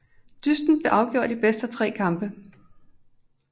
Dysten blev afgjort i bedst af tre kampe